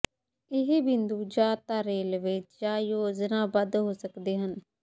ਇਹ ਬਿੰਦੂ ਜਾਂ ਤਾਂ ਰਲਵੇਂ ਜਾਂ ਯੋਜਨਾਬੱਧ ਹੋ ਸਕਦੇ ਹਨ